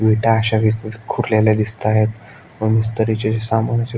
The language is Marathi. विटा अश्या विखुरलेल्या दिसताएत व मिस्त्रीचे जे सामानाचे--